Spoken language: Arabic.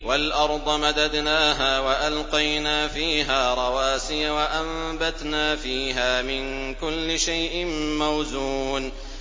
وَالْأَرْضَ مَدَدْنَاهَا وَأَلْقَيْنَا فِيهَا رَوَاسِيَ وَأَنبَتْنَا فِيهَا مِن كُلِّ شَيْءٍ مَّوْزُونٍ